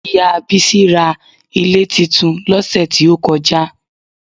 Ìyá Bísí ra ilé titun lọ́sẹ̀ tí ó kọjá